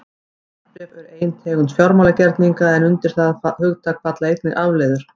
Verðbréf eru ein tegund fjármálagerninga en undir það hugtak falla einnig afleiður.